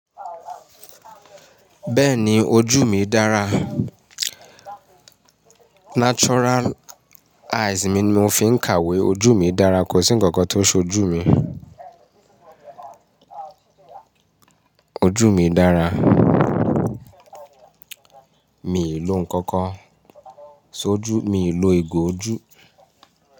Bẹ́ẹ̀ni ojú mi dára. Natural eyes mi ni mo fi ń kàwé. Ojú mi dára, kò sí ǹkankan tó so ojú mi. Ojú mi dára, mi ò lò ǹkankan, so ojú, mi ò lò ìgò ojú.